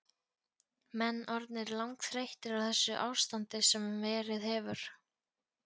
Menn orðnir langþreyttir á þessu ástandi sem verið hefur?